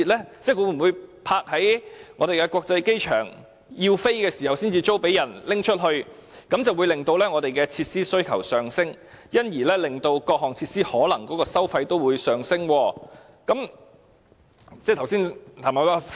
即那些飛機會否停泊在香港國際機場，在有需要時才租出，這樣便會令我們的設施需求上升，因而令各項設施的收費也可能上升。